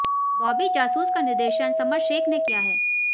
बॉबी जासूस का निर्देशन समर शेख ने किया है